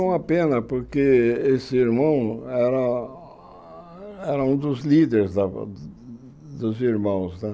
Foi uma pena, porque esse irmão era era um dos líderes da dos irmãos né.